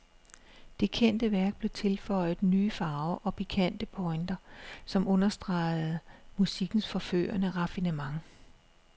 Det kendte værk blev tilføjet nye farver og pikante pointer, som understregede musikkens forførende raffinement.